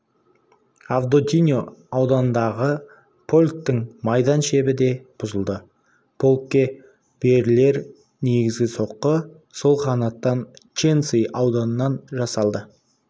авдотиньо ауданындағы полктың майдан шебі де бұзылды полкке берілер негізгі соққы сол қанаттан ченцы ауданынан жасалды